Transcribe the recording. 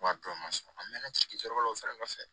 Wari tɔ ma sɔn a mɛna ci wɛrɛ la o saraka kɔfɛ